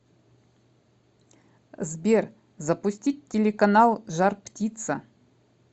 сбер запустить телеканал жар птица